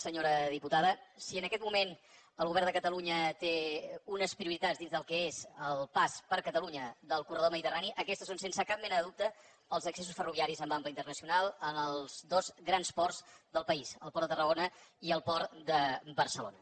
senyora diputada si en aquest moment el govern de catalunya té unes prioritats dins del que és el pas per catalunya del corredor mediterrani aquestes són sense cap mena de dubte els accessos ferroviaris amb ample internacional als dos grans ports del país el port de tarragona i el port de barcelona